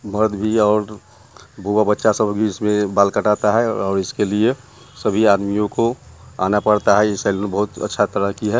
मर्द भी और बुआ-बच्चा सब इसमें बाल कटाता है और इसके लिए सभी आदमीओं को आना पड़ता है ये सेलून बहुत अच्छा तरह की है।